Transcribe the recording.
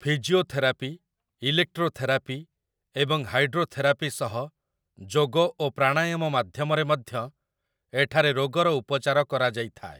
Physiotherapy, electrotherapy ଏବଂ hydrotherapy ସହ ଯୋଗ ଓ ପ୍ରାଣାୟାମ ମାଧ୍ୟମରେ ମଧ୍ୟ ଏଠାରେ ରୋଗର ଉପଚାର କରାଯାଇଥାଏ ।